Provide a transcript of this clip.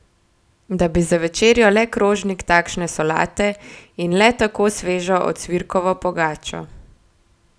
Da bi za večerjo le krožnik takšne solate in le tako svežo ocvirkovo pogačo!